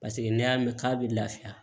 Paseke n'i y'a mɛn k'a bɛ lafiya